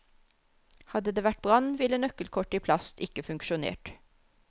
Hadde det vært brann, ville nøkkelkort i plast ikke funksjonert.